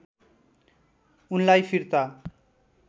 उनलाई फिर्ता